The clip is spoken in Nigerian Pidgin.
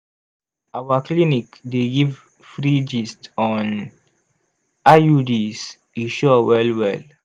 our clinic dey give free gist on iuds e sure well well!